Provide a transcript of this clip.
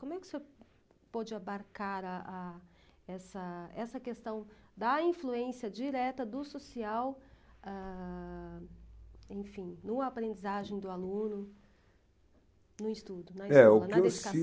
Como é que o senhor pôde abarcar, ah ah essa essa questão da influência direta do social, ãh, enfim, no aprendizagem do aluno, no estudo, na escola, na dedicação?